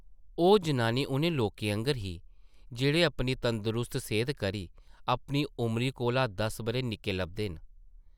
ओह् जनानी उʼनें लोकें आंगर ही ,जेह्ड़े अपनी तंदरुस्त सेह्ता करी अपनी उमरी कोला दस बʼरे निक्के लभदे न ।